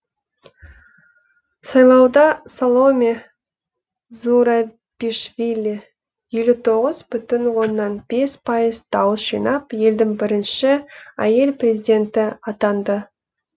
сайлауда саломе зурабишвили елу тоғыз бүтін оннан бес пайыз дауыс жинап елдің бірінші әйел президенті атанды